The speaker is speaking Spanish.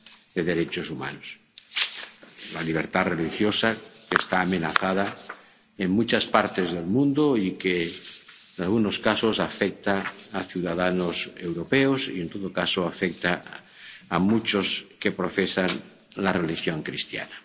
de derechos humanos la libertad religiosa, que está amenazada en muchas partes del mundo y que en algunos casos afecta a ciudadanos europeos y, en todo caso, afecta a muchos que profesan la religión cristiana.